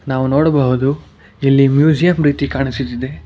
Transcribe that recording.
ನಾವು ನೋಡಬಹುದು ಇಲ್ಲಿ ಮ್ಯೂಸಿಯಂ ರೀತಿ ಕಾಣಿಸುತ್ತಿದೆ.